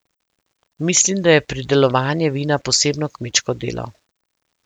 Mislim, da je pridelovanje vina posebno kmečko delo.